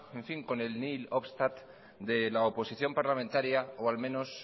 con el nihil obstat de la oposición parlamentaria o al menos